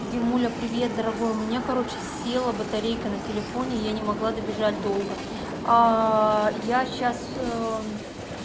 димуля привет дорогой у меня короче села батарейка на телефоне я не могла добежать долго я сейчас